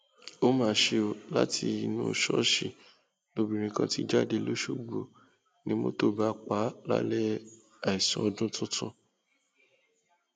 ó mà ṣe o látinú ṣọọṣì lobìnrin kan ti jáde lọsọgbọ ni mọtò bá pa á lálẹ àìsùn ọdún tuntun